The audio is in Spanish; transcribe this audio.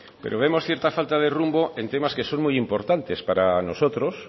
pero vemos cierta falta de rumbo en temas que son muy importantes para nosotros